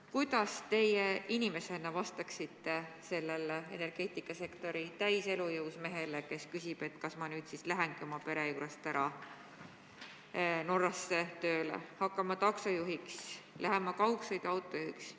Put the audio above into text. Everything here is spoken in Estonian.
Kuidas teie inimesena vastaksite sellele energeetikasektori täies elujõus mehele, kes küsib, kas ta nüüd siis lähebki oma pere juurest ära Norrasse, hakkab taksojuhiks, läheb kaugsõiduautojuhiks.